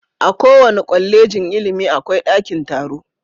A kowace Kwallejin ilimi akwai daki taro.